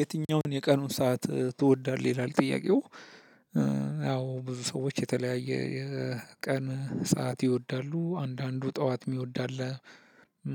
የትኛውን የቀኑን ሰዓት ትወዳለህ ይላል ጥያቄው ያው ብዙ ሰዎች የተለያየ የቀን ሰዓት ይወዳሉ አንዳንዱ ጠዋት የሚወድ አለ።